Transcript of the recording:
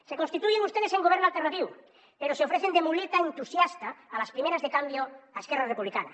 se constituyen ustedes en govern alternatiu pero se ofrecen de muleta entusiasta a las primeras de cambio a esquerra republicana